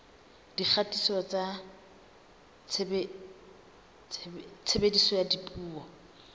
dikgatiso tsa tshebediso ya dipuo